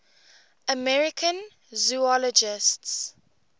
american zoologists